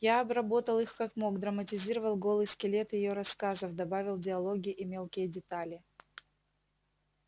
я обработал их как мог драматизировал голый скелет её рассказов добавил диалоги и мелкие детали